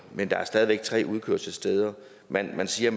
men der er stadig væk tre udkørselssteder man man siger